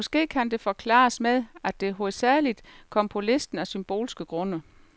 Måske kan det forklares med, at det hovedsagelig kom på listen af symbolske grunde.